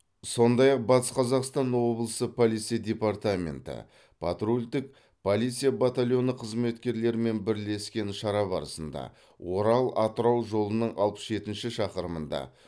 сондай ақ батыс қазақстан облысы полиция департаменті патрульдік полиция батальоны қызметкерлерімен бірлескен шара барысында орал атырау жолының алпыс жетінші шақырымында